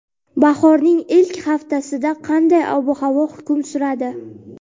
Bahorning ilk haftasida qanday ob-havo hukm suradi?.